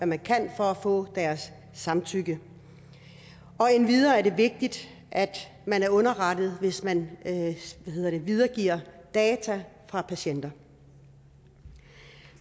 man kan for at få deres samtykke endvidere er det vigtigt at man er underrettet hvis man videregiver data fra patienter